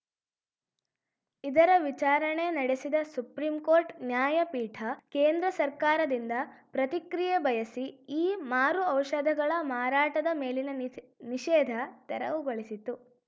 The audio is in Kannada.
ಇದರ ವಿಚಾರಣೆ ನಡೆಸಿದ ಸುಪ್ರೀಂ ಕೋರ್ಟ್‌ ನ್ಯಾಯಪೀಠ ಕೇಂದ್ರ ಸರ್ಕಾರದಿಂದ ಪ್ರತಿಕ್ರಿಯೆ ಬಯಸಿ ಈ ಮಾರು ಔಷಧಗಳ ಮಾರಾಟದ ಮೇಲಿನ ನಿಷ್ ನಿಷೇಧ ತೆರವುಗೊಳಿಸಿತು